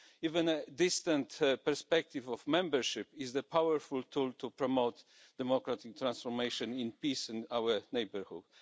Even a distant perspective of membership is a powerful tool to promote democratic transformation in peace in our neighbourhood.